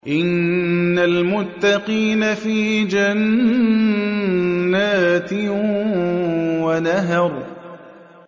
إِنَّ الْمُتَّقِينَ فِي جَنَّاتٍ وَنَهَرٍ